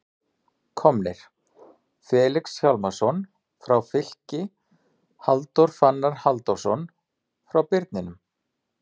Komnir: Felix Hjálmarsson frá Fylki Halldór Fannar Halldórsson frá Birninum